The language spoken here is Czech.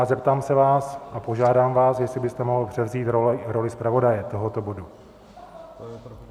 A zeptám se vás, a požádám vás, jestli byste mohl převzít roli zpravodaje tohoto bodu.